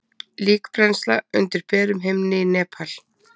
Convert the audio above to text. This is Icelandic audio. Líkbrennsla undir berum himni í Nepal.